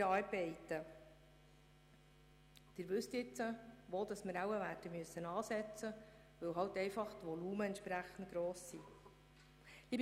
Sie wissen jetzt, wo wir ansetzen müssen, weil die Volumina entsprechend gross sind.